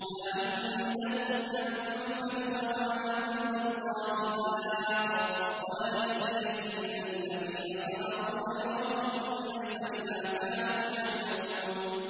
مَا عِندَكُمْ يَنفَدُ ۖ وَمَا عِندَ اللَّهِ بَاقٍ ۗ وَلَنَجْزِيَنَّ الَّذِينَ صَبَرُوا أَجْرَهُم بِأَحْسَنِ مَا كَانُوا يَعْمَلُونَ